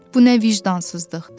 Bu nə vicdansızlıqdır?